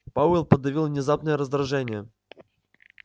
пауэлл подавил внезапное раздражение